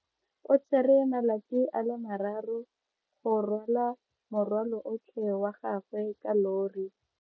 O tsere malatsi a le marraro go rwala morwalo otlhe wa gagwe ka llori.